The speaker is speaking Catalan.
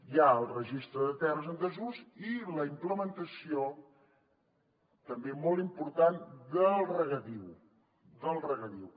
hi ha el registre de terres en desús i la implementació també molt important del regadiu